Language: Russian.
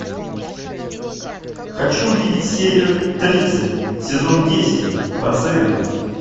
хочу увидеть серию тридцать сезон десять пациенты